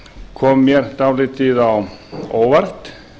kom mér dálítið á óvart